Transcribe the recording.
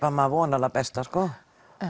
maður vonar hið besta sko